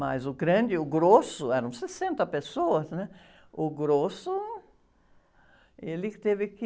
Mas o grande, o grosso, eram sessenta pessoas, né? O grosso, ele que teve que...